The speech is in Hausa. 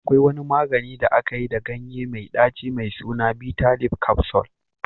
Akwai wani magani da aka yi da ganye mai ɗaci mai suna bitter leaf capsule